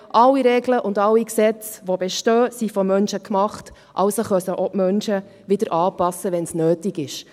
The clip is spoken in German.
Alle Regeln und Gesetze, die bestehen, wurden von Menschen gemacht, also können die Menschen sie auch wieder anpassen, wenn es nötig ist.